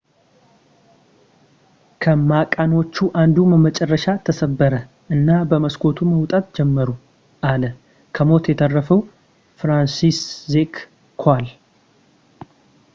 ከመቃኖቹ አንዱ በመጨረሻ ተሰበረ እና በመስኮቱ መውጣት ጀመሩ አለ ከሞት የተረፈው ፍራንሲስዜክ ኮዋል